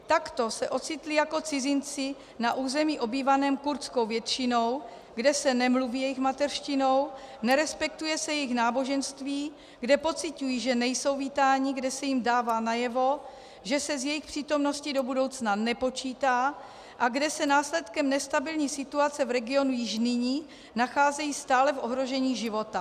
Takto se ocitli jako cizinci na území obývaném kurdskou většinou, kde se nemluví jejich mateřštinou, nerespektuje se jejich náboženství, kde pociťují, že nejsou vítáni, kde se jim dává najevo, že se s jejich přítomností do budoucna nepočítá, a kde se následkem nestabilní situace v regionu již nyní nacházejí stále v ohrožení života.